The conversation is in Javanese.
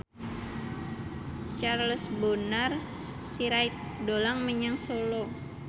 Charles Bonar Sirait dolan menyang Solo